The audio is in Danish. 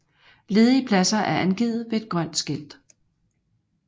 Ledige pladser er angivet ved et grønt skilt